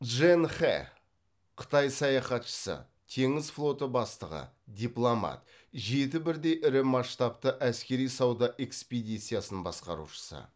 чжэн хэ қытай саяхатшысы теңіз флоты бастығы дипломат жеті бірдей ірі масштабты әскери сауда экспедициясын басқарушысы